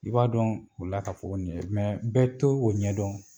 I b'a dɔn u la ka fɔ ko nin ye jumɛn, bɛɛ t'o ɲɛ dɔn.